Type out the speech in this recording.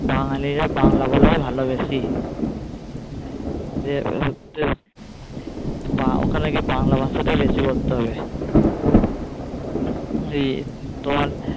বাঙালির বাংলা বলাই ভালোবাসি যে যে বা ওখানে গিয়ে বাংলা ভাষাটা বেশি বলতে হবে ওই তোমার